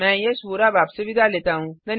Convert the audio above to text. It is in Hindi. मैं यश वोरा अब आपसे विदा लेता हूँ